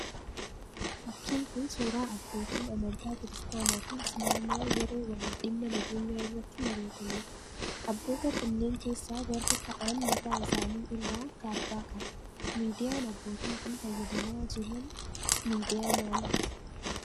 Fakkiin kun suuraa abbootiin amantaa kiristaanaa fi Isilaamaa yeroo waliin dhimma nageenyaa irratti mari'ataniidha. Abboota kunneen keessaa warri ka'aan mataa isaanii irraa kaabbaa qabu. Miidiyaan abbootiin kun fayyadamaa jira miidiyaa maaliiti?